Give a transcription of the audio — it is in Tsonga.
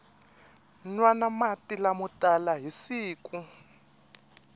nwana mati lamo tala hi siku